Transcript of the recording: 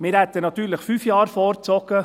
Wir hätten natürlich fünf Jahre vorgezogen.